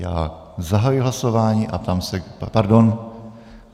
Já zahajuji hlasování a ptám se... Pardon.